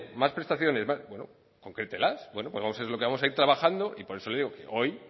más prestaciones bueno concrételas bueno pues vamos a ver lo que vamos a ir trabajando y por eso le digo que hoy